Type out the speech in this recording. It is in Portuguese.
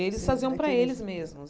Eles faziam para eles mesmos.